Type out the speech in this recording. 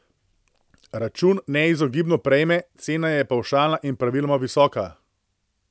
Račun neizogibno prejme, cena je pavšalna in praviloma visoka.